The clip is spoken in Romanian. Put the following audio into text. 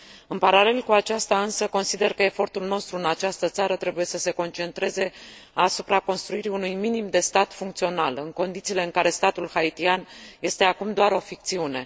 În paralel cu aceasta, însă, consider că efortul nostru în această țară trebuie să se concentreze asupra construirii unui minim de stat funcțional, în condițiile în care statul haitian este acum doar o ficțiune.